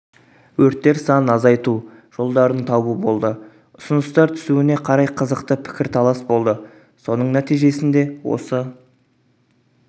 өрттер санын азайту жолдарын табу болды ұсыныстар түсуіне қарай қызықты пікірталас болды соның нәтижесінде осы